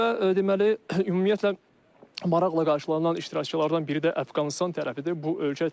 Və deməli ümumiyyətlə maraqla qarşılanan iştirakçılardan biri də Əfqanıstan tərəfidir.